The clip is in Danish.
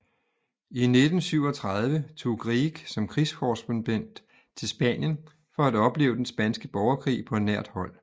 I 1937 tog Grieg som krigskorrespondent til Spanien for at opleve den spanske borgerkrig på nært hold